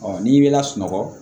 n'i bɛ lasunɔgɔ